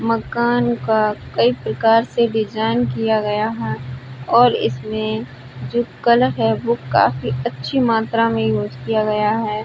मकान का कई प्रकार से डिजाइन किया गया है और इसमें जो कलर है वह काफी मात्रा में यूज़ किया गया है।